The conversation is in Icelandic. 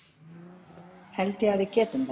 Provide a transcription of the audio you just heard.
Held ég að við getum það?